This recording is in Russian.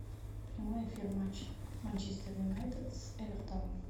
прямой эфир матча манчестер юнайтед с эвертоном